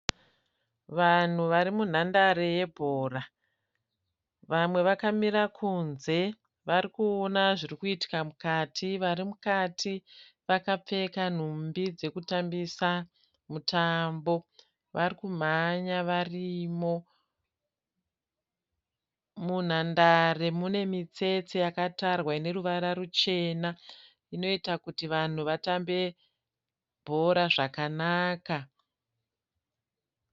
Vanhu vari munhandare yebhora. Vamwe vakamira kunze varikuona zvirikuitika mukati. Vari mukati vakapfeka nhumbi dzekutambisa mutambo. Varikumhanya varimo. Munhandare mune mitsetse yakatarwa ineruvara ruchena inoita kuti vanhu vatambe bhora zvakanaka.